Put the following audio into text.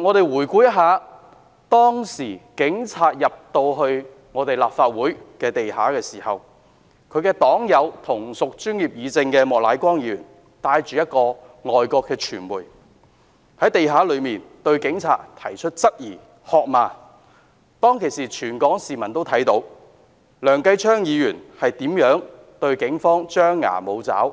我們回顧事發當天警察進入立法會地下時，其同屬專業議政的黨友莫乃光議員帶同一名外國傳媒記者，在地下向警察提出各種質疑及喝罵他們，而全港市民均看到當時梁繼昌議員是如何在警方面前張牙舞爪，